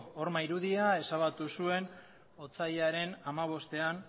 horma irudia ezabatu zuen aurten otsailaren hamabostean